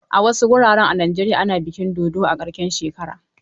A wasu wuraren a Najeriya ana bikin dodo a karshen shekara.